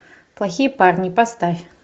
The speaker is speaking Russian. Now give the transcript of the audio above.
плохие парни поставь